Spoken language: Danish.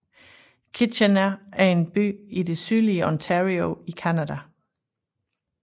Kitchener er en by i det sydlige Ontario i Canada